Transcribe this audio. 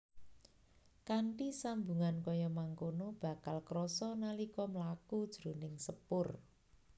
Kanthi sambungan kaya mangkono bakal krasa nalika mlaku jroning sepur